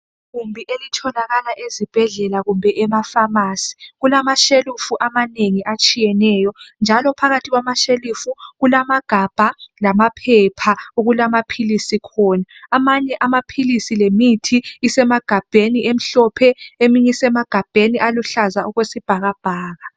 Igumbi elitholakala ezibhedlela kumbe emafamasi kulamashelufu amanengi atshiyeneyo njalo phakathi kwama shelufu kulamagabha lamaphepha okulamaphilisi khona amanye amaphilisi lemithi isemagabheni emhlophe eminye isemagabheni aluhlaza okwesibhakabhaka.